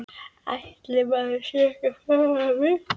Ætli maður sé ekki farinn að vita það.